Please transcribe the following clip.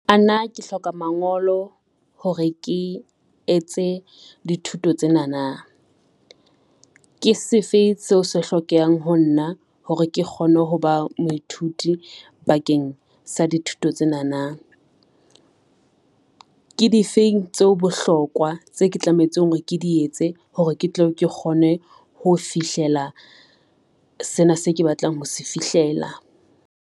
Ana, ke hloka mangolo hore ke etse dithuto tsena na. Ke se fe seo se hlokehang ho nna hore ke kgone ho ba moithuti bakeng sa dithuto tsena na. Ke difeng tseo bohlokwa tse ke tlametseng hore ke di etse hore ke tle ke kgone ho fihlela sena se ke batlang ho se fihlela.